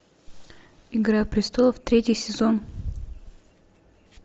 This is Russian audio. игра престолов третий сезон